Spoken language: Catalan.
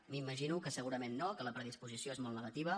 m’imagino que segurament no que la predisposició és molt negativa